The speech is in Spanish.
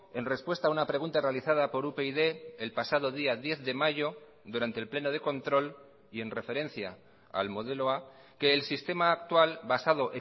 en respuesta a una pregunta realizada por upyd el pasado día diez de mayo durante el pleno de control y en referencia al modelo a que el sistema actual basado